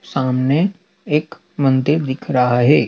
सामने एक मन्दिर दिख रहा है।